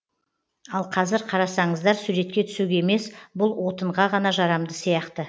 ал қазір қарасаңыздар суретке түсуге емес бұл отынға ғана жарамды сияқты